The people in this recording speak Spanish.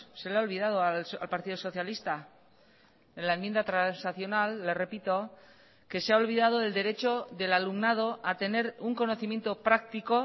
se le ha olvidado al partido socialista en la enmienda transaccional le repito que se ha olvidado del derecho del alumnado a tener un conocimiento práctico